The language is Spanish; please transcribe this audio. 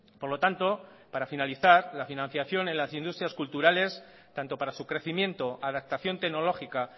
por lo tanto para finalizar la financiación en las industrias culturales tanto para su crecimiento adaptación tecnológica